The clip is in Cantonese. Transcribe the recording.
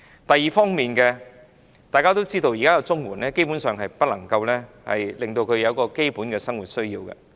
第二方面，大家都知道現時的綜援基本上不能應付基本的生活需要。